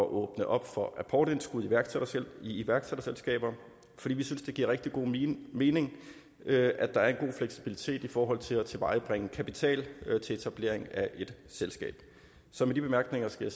at åbne op for apportindskud i iværksætterselskaber fordi vi synes det giver rigtig god mening at at der er en god fleksibilitet i forhold til at tilvejebringe kapital til etablering af et selskab så med de bemærkninger skal